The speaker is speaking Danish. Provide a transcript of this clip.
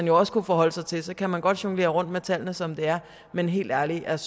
jo også kunne forholde sig til så kan man godt jonglere rundt med tallene som det er men helt ærligt jeg